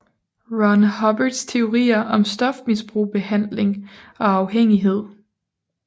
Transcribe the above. Ron Hubbards teorier om stofmisbrug behandling og afhængighed